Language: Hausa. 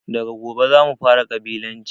Daga gobe zamu fara ƙabilanci